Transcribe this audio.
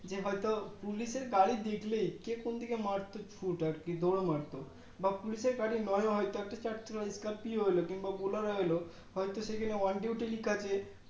এ হয় তো Police এর গাড়ি দেখলে কে কোন দিকে মারতো ছুট আর কি দোর মারতো বা Police এর গাড়ি নয় ও হয় তো একটা চারচাকা Scorpio কিংবা Bularo এল হয় তো সেখানে On Duty লেখা আছে